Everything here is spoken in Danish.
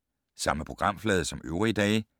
Samme programflade som øvrige dage